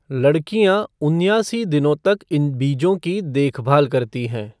लड़कियाँ उन्यासी दिनों तक इन बीजों की देखभाल करती हैं।